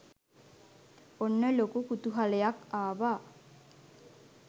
ඔන්න ලොකු කුතුහලයක් ආවා.